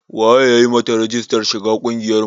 Wa ya yi ma ta rijistar shiga ƙungiyar mu?